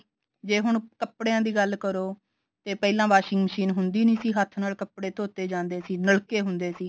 ਜੇ ਹੁਣ ਕੱਪੜਿਆ ਦੀ ਗੱਲ ਕਰੋ ਤੇ ਪਹਿਲਾਂ washing machine ਹੁੰਦੀ ਨੀ ਸੀ ਹੱਥ ਨਾਲ ਕੱਪੜੇ ਧੋਤੇ ਜਾਂਦੇ ਸੀ ਨਲਕੇ ਹੁੰਦੇ ਸੀ